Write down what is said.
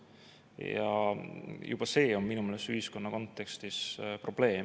Ja juba see on minu meelest ühiskonna kontekstis probleem.